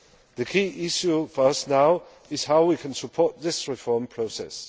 The key issue for us now is how we can support this reform process.